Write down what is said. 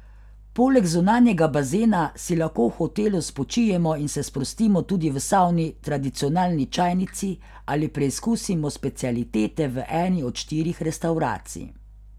Poleg zunanjega bazena si lahko v hotelu spočijemo in se sprostimo tudi v savni, tradicionalni čajnici ali preizkusimo specialitete v eni od štirih restavracij.